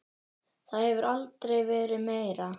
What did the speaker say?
Það hefur aldrei verið meira.